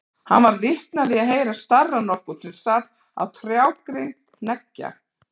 Hann varð vitni af því að heyra starra nokkurn sem sat á trjágrein hneggja.